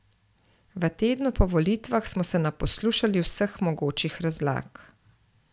V tednu po volitvah smo se naposlušali vseh mogočih razlag.